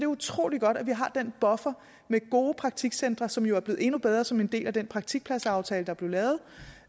utrolig godt at vi har den buffer med gode praktikcentre som jo er blevet endnu bedre som en del af den praktikpladsaftale der blev lavet